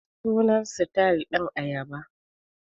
Sunan sitayil dinnan ayaba.